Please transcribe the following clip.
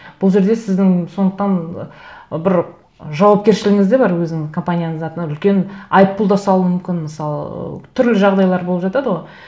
бұл жерде сіздің сондықтан бір жауапкершілігіңіз де бар өзінің компанияңыздың атына үлкен айыппұл да салуы мүмкін мысалы ыыы түрлі жағдайлар болып жатады ғой